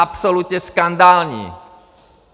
Absolutně skandální!